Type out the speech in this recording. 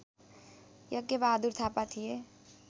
यज्ञबहादुर थापा थिए